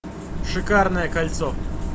шикарное кольцо